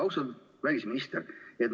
Austatud välisminister!